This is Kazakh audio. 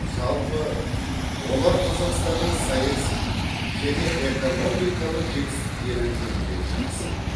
жалпы олар қазақстанның саяси және экономикалық жетістіктері жөнінде жақсы біледі